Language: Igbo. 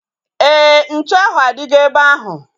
Éè, ntụ ahu adigo ebe ahu